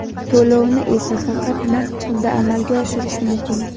To‘lovni esa faqat naqd pulda amalga oshirish mumkin.